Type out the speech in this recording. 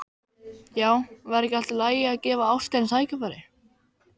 Já, væri ekki allt í lagi að gefa ástinni tækifæri?